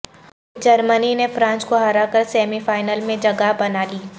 جرمنی نے فرانس کو ہرا کر سیمی فائنل میں جگہ بنالی